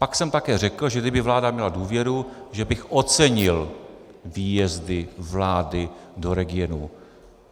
Pak jsem také řekl, že kdyby vláda měla důvěru, že bych ocenil výjezdy vlády do regionů.